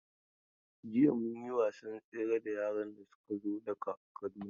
Jiya mun yi wasan tsere da yaran da suka zo daga Kaduna.